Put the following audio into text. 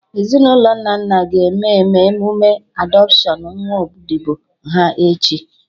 Ezinụlọ Nnanna ga-eme eme emụme adọpshion nwa odibo ha, echi